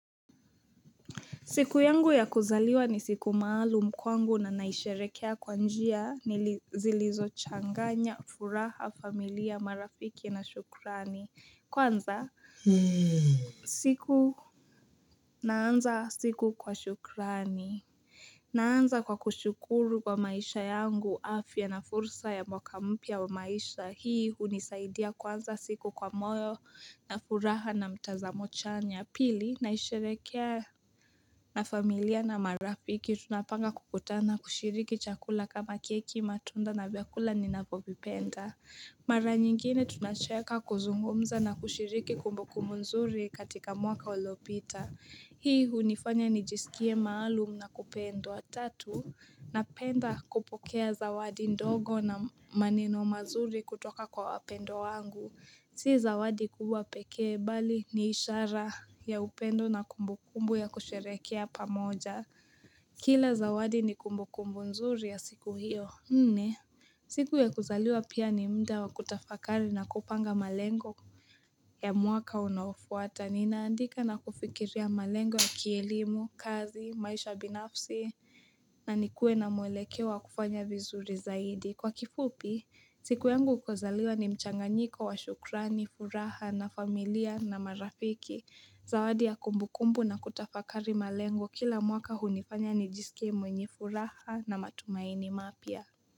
Siku yangu ya kuzaliwa ni siku maalum kwangu na naisherekea kwa njia ni zilizo changanya, furaha, familia, marafiki na shukrani. Kwanza, siku naanza siku kwa shukrani. Naanza kwa kushukuru kwa maisha yangu, afya na fursa ya mwaka mpya wa maisha hii, unisaidia kuanza siku kwa moyo na furaha na mtazamo chanya. Pili naisherekea na familia na marafiki tunapanga kukutana kushiriki chakula kama keki matunda na vyakula ni navyopipenda. Mara nyingine tunasheka kuzungumza na kushiriki kumbuku mzuri katika mwaka ulopita. Hii unifanya nijisikie maalum na kupendwa tatu na penda kupokea zawadi ndogo na maneno mazuri kutoka kwa wapendwa wangu. Si zawadi kubwa pekee bali ni ishara ya upendo na kumbu kumbu ya kusherekea pamoja. Kila zawadi ni kumbu kumbu nzuri ya siku hiyo. Nne, siku ya kuzaliwa pia ni mda wa kutafakari na kupanga malengo ya mwaka unaofuata. Ninaandika na kufikiria malengo ya kielimu, kazi, maisha binafsi, na nikuwe na mwelekeo wa kufanya vizuri zaidi. Kwa kifupi, siku yangu ya kuzaliwa ni mchanganyiko wa shukrani, furaha na familia na marafiki. Zawadi ya kumbu kumbu na kutafakari malengo kila mwaka hunifanya ni jisikie mwenye furaha na matumaini mapya.